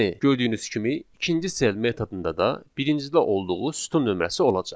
Yəni, gördüyünüz kimi ikinci cell metodunda da birincidə olduğu sütun nömrəsi olacaq.